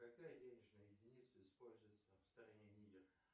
какая денежная единица используется в стране нигер